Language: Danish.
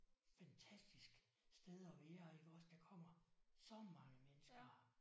Fantastisk sted at være iggås der kommer så mange mennesker her